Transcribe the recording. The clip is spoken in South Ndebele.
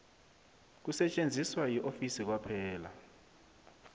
kusetjenziswa yiofisi kwaphela